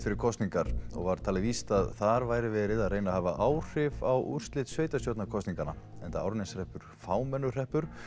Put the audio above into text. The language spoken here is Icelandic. fyrir kosningar og var talið víst að þar væri verið að reyna að hafa áhrif á úrslit sveitarstjórnarkosninganna enda Árneshreppur fámennur hreppur